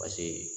Paseke